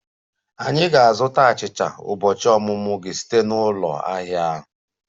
Anyị ga-azụta achicha ụbọchị ọmụmụ gị site na ụlọ ahịa a